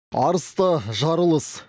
арыста жарылыс